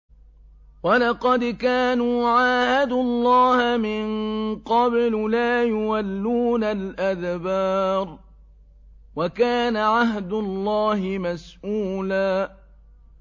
وَلَقَدْ كَانُوا عَاهَدُوا اللَّهَ مِن قَبْلُ لَا يُوَلُّونَ الْأَدْبَارَ ۚ وَكَانَ عَهْدُ اللَّهِ مَسْئُولًا